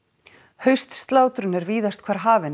haustslátrun er víðast hvar hafin en